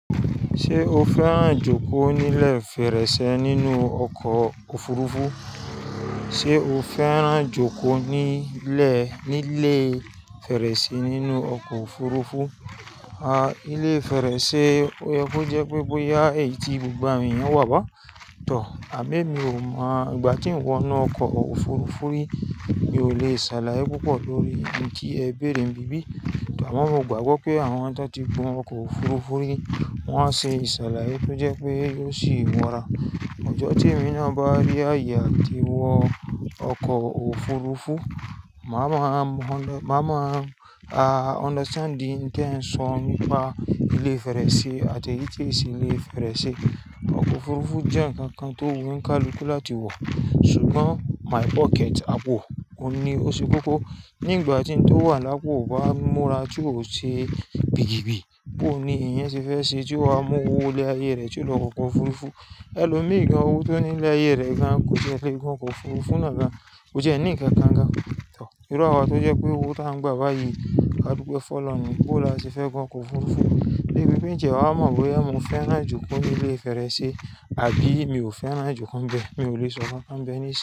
Ṣé o fẹ́ràn jókòó nílẹ̀ fẹ̀rẹ́sẹ́ nínú ọkọ̀ òfurufú? Sé o fẹ́ràn jókòó nílẹ̀ nílé fẹ̀rẹ́sẹ́ nínú ọkọ̀ òfurufú? A, ilé fẹ̀rẹ́sẹ́ oyẹ kọ́ jẹ́ pé bóyá èyí gbogbo àwọn èèyàn wà bá a, tọ̀. Àmo ẹ́mi ò mọ̀, ìgbà tí n wọ́ inú ọkọ̀ òfurufú rí, mi ò le ṣàlàyé púpọ̀ lórí ohun tí ẹ béèrè ni bí bí. Àmọ́ mọ̀ gbàgbọ́ pé àwọn tó ti gun ọkọ̀ òfurufú rí wọ́n á ṣe ìsàlàyé tó jẹ́ pé yóò sì múra. Ọjọ́ tí èmi náà bá rí àyè àti wọ ọkọ̀ òfurufú, màá mọ, máa mọ̀, a, understand ohun te n so nípa ilé fẹ̀rẹ́sẹ́ àti èyí tií ṣe ilé fẹ̀rẹ́sẹ́. Ọkọ̀ òfurufú jẹ́ nǹkan kan tó wù olukálukú láti wọ̀, ṣùgbọ́n my pocket ápọ̀, ohun ní o ṣe kókó. Ní ìgbà tí ń tó wà lápò bá múra tí ò ṣe bìgìbí, bó ni èèyàn ṣe fẹ́ ṣe tí ó máa mú owó ilé ayé rẹ tí ó lọ wo ọkọ̀ òfurufú. Ẹ lò mí ì gan owó tó ní ilé ayé rẹ gan, kò tiẹ́ le gun ọkọ̀ òfurufú náà gan. Ko tiẹ́ ní ǹnkan kan gan tọ̀. Irú àwa tó jẹ́ pé owó tó ń gba báyìí, kàdúpẹ fọ̀ lọrun ní boo la ṣe fẹ́ gun ọkọ̀ òfurufú? Débi pe ǹ tiẹ́ wà á mọ̀ bóyá mo fẹ́ràn jókòó nílé fẹ̀rẹ́sẹ́ àbí mi ò fẹ́ràn jókòó bẹ́ẹ̀, mi ò le sọ kankan bẹ́ẹ̀ nísiyin.